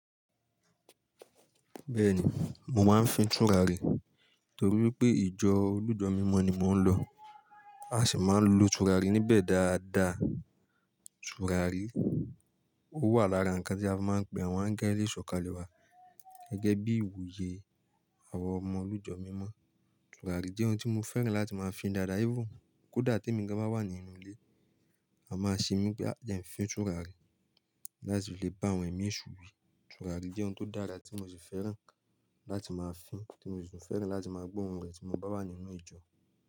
Bẹ́ẹ̀ni, mo máa ń fi tùràrí torí pé ìjọ olùjọ́ mímọ́ ni mò ń lọ. A sì máa ń lo tùràrí níbẹ̀ dáadáa. Tùràrí ó wà lára ǹkan tí a máa ń gbé wọ́n á gẹ́ ilé ìsọ̀kalẹ̀ wa gẹ́gẹ́ bí ìwúye àwọn ọmọ olùjọ́ mímọ́. Tùràrí jẹ́ ohun tí mo fẹ́ràn láti máa fín dáadáa ífun. Kódà te mìgán bá wà nínú ilé, a máa ṣe mí pé a jẹ́ ń fín tùràrí láti lè bá àwọn ẹ̀mí esú wi. Tùràrí jẹ́ ohun tó dára tí mo sì fẹ́ràn láti máa fín, tí mo sì fẹ́ràn láti máa gbọ́ ohùn rẹ̀ tí mo bá wà nínú ìjọ.